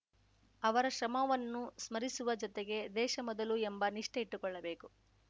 ಅವರ ಶ್ರಮವನ್ನು ಸ್ಮರಿಸುವ ಜೊತೆಗೆ ದೇಶ ಮೊದಲು ಎಂಬ ನಿಷ್ಠೆ ಇಟ್ಟುಕೊಳ್ಳಬೇಕು